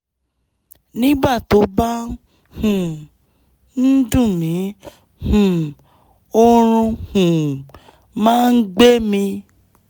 nígbà tó bá um ń dùn mí um oorun um máa ń gbẹ mí